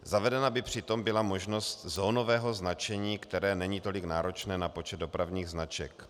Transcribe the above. Zavedena by přitom byla možnost zónového značení, které není tolik náročné na počet dopravních značek.